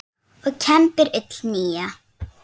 og kembir ull nýja.